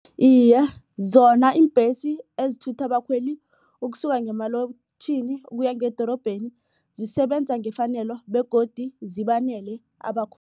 Iye, zona iimbhesi ezithutha abakhweli ukusuka ngemalokitjhini ukuya ngedorobheni zisebenza ngefanelo begodu zibanele